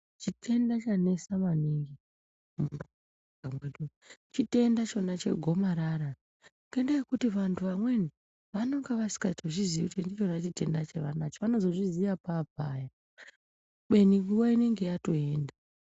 Chitenda chanetsa maningi ,chitenda ichona chegomarara ngenda yekuti vamwe vanhu amweni vanonga vasingatozvizivi kuti gomarara rechitenda